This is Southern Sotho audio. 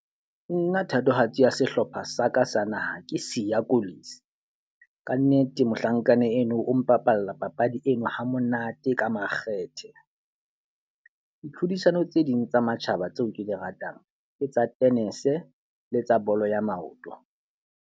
Nna thatohatsi ya sehlopha sa ka sa naha ke Siya Kolisi. Ka nnete mohlankana eno o mpapalla papadi eno ha monate ka makgethe. Ditlhodisano tse ding tsa matjhaba tseo ke di ratang ke tsa tennis le tsa bolo ya maoto.